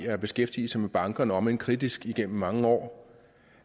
have beskæftiget sig med bankerne om end kritisk igennem mange år